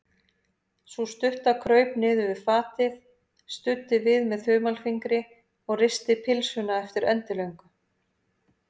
Sú stutta kraup niður við fatið, studdi við með þumalfingri og risti pylsuna eftir endilöngu.